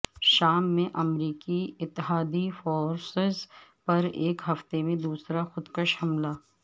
شام میں امریکی اتحادی فورسز پر ایک ہفتے میں دوسرا خودکش حملہ